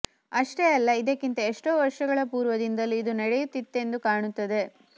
ಅಷ್ಟೇ ಅಲ್ಲ ಇದಕ್ಕಿಂತ ಎಷ್ಟೋ ವರ್ಷಗಳ ಪೂರ್ವದಿಂದಲೂ ಇದು ನಡೆಯುತ್ತಿತ್ತೆಂದು ಕಾಣುತ್ತದೆ